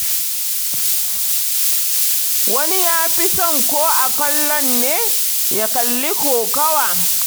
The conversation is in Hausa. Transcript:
Wani ya fi son ko a kallon ne, ya kalli kokawa.